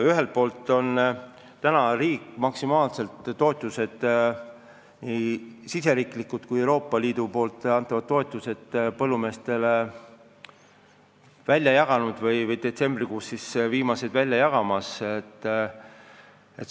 Ühelt poolt on maksimaalsed oma riigi ja ka Euroopa Liidu toetused põllumeestele välja jagatud, õigemini detsembrikuus jagatakse välja viimased summad.